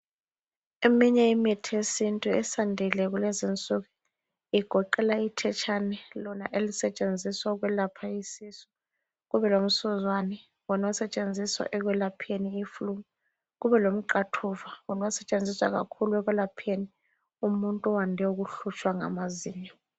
Eminye imithi yesintu esiyandile kulezinsuku igoqela ithetshane lona elisetshenziswa ukwelapha isisu ,kube lomsuzwane wona osetshenziswa ekwelapheni iflu, kube lomqathuva wona osetshenziswa kakhulu ekwelapheni umuntu owande ukuhlutshwa ngamazinyo.